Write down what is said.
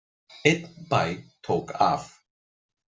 Einn bæ tók af.